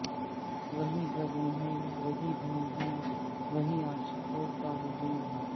وہی بزم ہے وہی دھوم ہے وہی عاشقوں کا ہجوم ہے